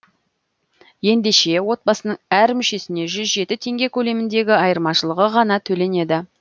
ендеше отбасының әр мүшесіне жүз жеті теңге көлеміндегі айырмашылығы ғана төленеді